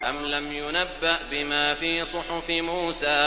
أَمْ لَمْ يُنَبَّأْ بِمَا فِي صُحُفِ مُوسَىٰ